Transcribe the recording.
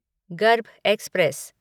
गर्भ एक्सप्रेस